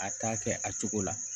A ta kɛ a cogo la